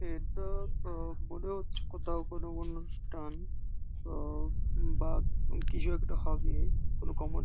এটা তো মনে হচ্ছে কোথাও কোন অনুষ্ঠান। তো উম বা কিছু একটা হবে- এ কোন কমন --